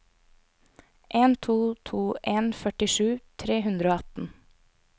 en to to en førtisju tre hundre og atten